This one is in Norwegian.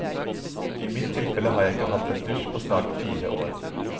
I mitt tilfelle har jeg ikke hatt en dusj på snart fire år.